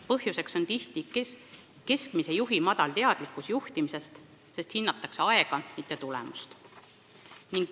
Põhjuseks on tihti keskastme juhi madal teadlikkus juhtimisest, sest hinnatakse aega, mitte tulemust.